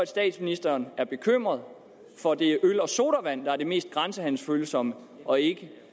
statsministeren er bekymret for at det er øl og sodavand der er det mest grænsehandelsfølsomme og ikke